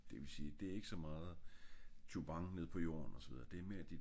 det vil sige det er ik så meget jubang nede på jorden og så videre